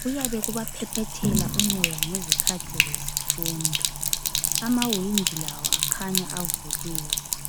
kuyabe kubaphephethela umoya ngesikhathi zesifundo. Amawindi lawo akhanya avuliwe.